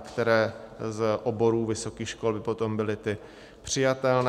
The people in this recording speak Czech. které z oborů vysokých škol by potom byly ty přijatelné.